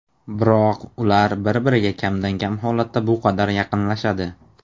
Biroq ular bir-biriga kamdan-kam holatda bu qadar yaqinlashadi.